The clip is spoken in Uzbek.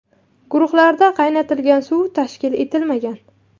Guruhlarda qaynatilgan suv tashkil etilmagan.